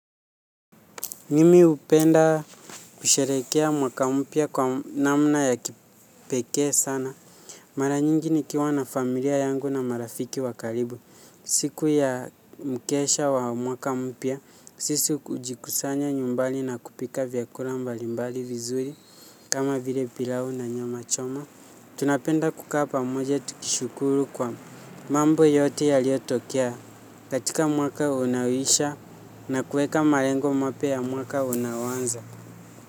Mimi hupenda kusherehekea mwaka mpya kwa namna ya kipekee sana. Mara nyingi nikiwa na familia yangu na marafiki wa karibu. Siku ya mkesha wa mwaka mpya, sisi hujikusanya nyumbani na kupika vyakula pmbalimbali vizuri kama vile pilau na nyama choma. Tunapenda kuka pamoja tukishukuru kwa mambo yote yaliotokea. Katika mwaka unaoishia na kuweka malengo mapya ya mwaka unaoanza.